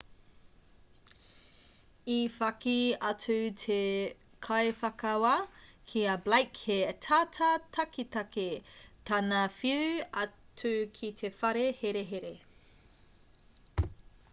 i whakī atu te kaiwhakawā ki a blake he tata taketake tana whiu atu ki te whare herehere